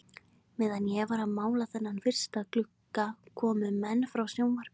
Meðan ég var að mála þennan fyrsta glugga komu menn frá sjónvarpinu í